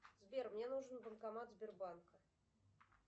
сбер мне нужен банкомат сбербанка